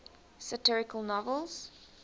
satirical novels